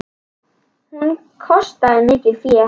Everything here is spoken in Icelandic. Bjössi horfir á þá.